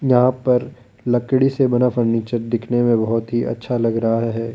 यहां पर लकड़ी से बना फर्नीचर दिखने में बहोत ही अच्छा लग रहा है।